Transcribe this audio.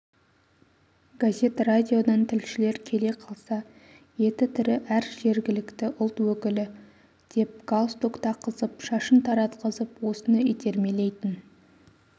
газет радиодан тілшілер келе қалса еті тірі әр жергілікті ұлт өкілі деп галстук таққызып шашын таратқызып осыны итермелейтін